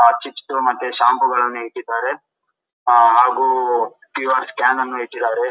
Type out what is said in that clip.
ಆಹ್ಹ್ chips ಗಳು shampoo ಗಳನ್ನೂ ಇಟ್ಟಿದ್ದಾರೆ ಹಾಗು ಈ ಸ್ಕ್ಯಾನ್ ಅನ್ನು ಇಟ್ಟಿದ್ದಾರೆ.